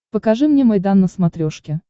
покажи мне майдан на смотрешке